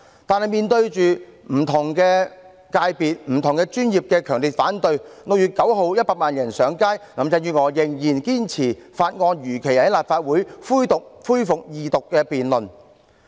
然而，面對不同界別和專業的強烈反對，以及在6月9日100萬人上街，林鄭月娥仍然堅持《條例草案》如期在立法會恢復二讀辯論。